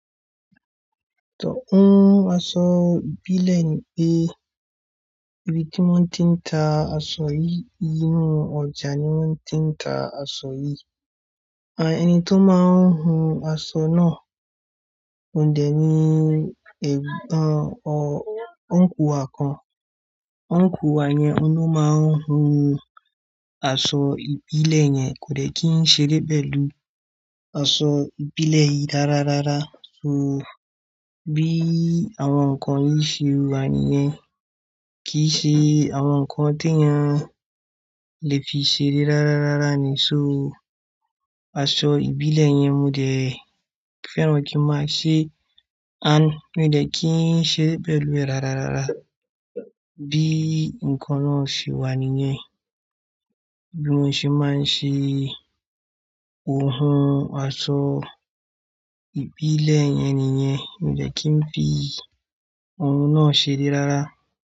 Tò n, aṣọ ìbílẹ̀ ni pé ibi tí wọ́n ti ń ta aṣọ yìí inú, ọjà ni wọ́n ti ń ta aṣọ yìí. À, ẹni tó máa ń hun aṣọ náà ó dẹ̀ ní, ẹ̀, a, ò, ọ́ńkù wa kan. Óńkù wa yẹn ni ó máa ń hun aṣọ ìbílẹ̀ yẹn kò dẹ̀ kí ń ṣeré pẹ̀lú aṣọ ìbílẹ̀ yìí rárá rárá. So bí àwọn ǹkan yìí ṣe wà nìyẹn kì í ṣe àwọn ǹkan tó yẹn lè fi ṣeré rárá rárá ni. So aṣọ ìbílẹ̀ yẹn mo dẹ̀ fẹ́ràn kí n máa ṣe, a, mi ò dẹ̀ kí ń ṣe pẹ̀lú rẹ̀ rárá rárá. Bí ǹkan náà ṣe wà nìyẹn, bí wọ́n ṣe máa ń ṣe ohun aṣọ ìbílẹ̀ yẹn nìyẹn, mi ò dẹ̀ kí ń fi ohun náà ṣeré rárá.